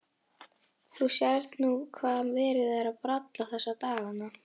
Þú sérð nú hvað verið er að bralla þessa dagana.